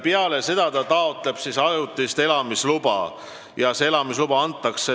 Peale seda tuleb taotleda ajutist elamisluba ja see antakse nominaalajaks.